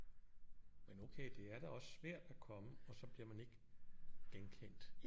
Men okay det er da også svært at komme og så bliver man ikke genkendt